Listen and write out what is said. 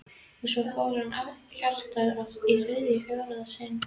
Og svo fór hjartað í þriðja og fjórða sinn.